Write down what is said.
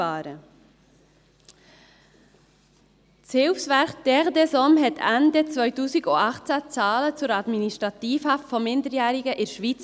Das Hilfswerk «Terre des hommes» veröffentlichte Ende 2018 Zahlen zur Administrativhaft von Minderjährigen in der Schweiz.